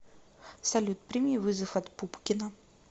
салют прими вызов от пупкина